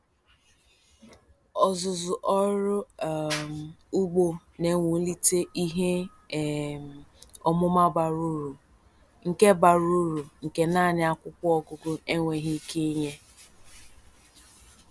Ọzụzụ ọrụ um ugbo na-ewulite ihe um ọmụma bara uru nke bara uru nke naanị akwụkwọ ọgụgụ enweghị ike inye.